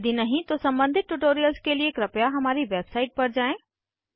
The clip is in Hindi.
यदि नहीं तो सम्बंधित ट्यूटोरियल्स के लिए हमारी वेबसाइट पर जाएँ